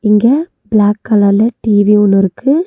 இங்க பிளாக் கலர்ல டி_வி ஒன்னு இருக்கு.